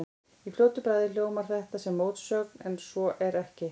Í fljótu bragði hljómar þetta sem mótsögn en svo er ekki.